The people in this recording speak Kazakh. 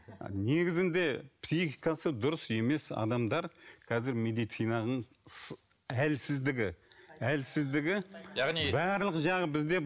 негізінде психикасы дұрыс емес адамдар қазір медицинаның әлсіздігі әлсіздігі яғни барлық жағы бізде